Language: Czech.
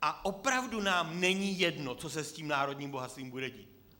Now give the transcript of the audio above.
A opravdu nám není jedno, co se s tím národním bohatstvím bude dít.